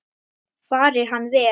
Fari hann vel.